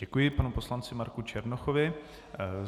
Děkuji panu poslanci Marku Černochovi.